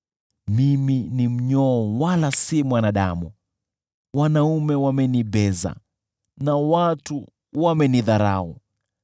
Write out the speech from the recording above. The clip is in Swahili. Mimi ni mnyoo wala si mwanadamu, wanaume wamenibeza, na watu wamenidharau.